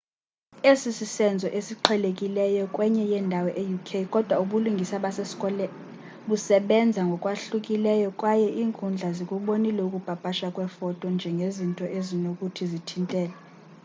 esi sisenzo esiqhelekileyo kwenye indawo e-uk kodwa ubulungisa basescotland busebenza ngokwahlukileyo kwaye iinkundla zikubonile ukupapashwa kweefoto njengezinto ezinokuthi zithintele